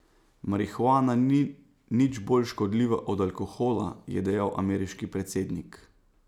Marihuana ni nič bolj škodljiva od alkohola, je dejal ameriški predsednik.